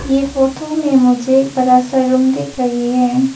ये फोटो में मुझे बड़ा सा रूम दिख रही है।